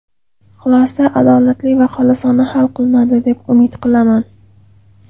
Xulosa adolatli va xolisona hal qilinadi, deb umid qilaman.